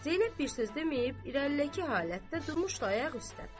Zeynəb bir söz deməyib, irəlik halətdə durmuşdu ayaq üstə.